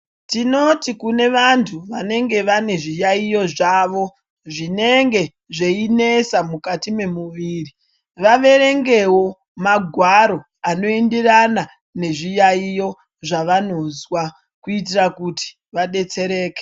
Tinoti kune vantu vanenge vane zviyayiyo zvavo zvinenge zveinesa mukati mwemuviri vaverengewo magwaro anoenderana nezviyayiyo zvavonozwa kuitira kuti vabetsereke.